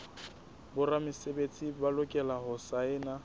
boramesebetsi ba lokela ho saena